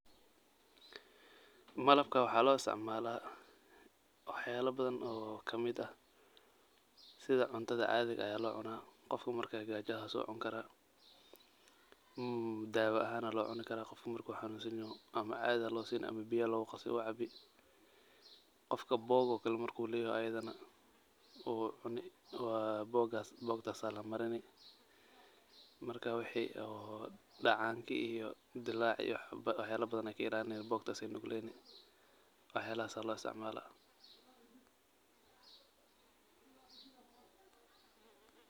Malabka waxa lo istacmala waax yaalo badan oo kamiid ah sidha cuntada caadhiga lo cuuna, qofka marke gaajo haso wu cuuni kara daawo wa lo cuuni kara marku xanunsayaho ama caadhi aa lo siini ama biya lagu qaas wu caabii, qofka boog marku leyahy ayadana wu cuuni bogtaas la marini marka wixi dacaankii iyo dilacii waax yalo badan aye ka ilalini botatas aye nuugleni waax yalaha aya lo istaacmala.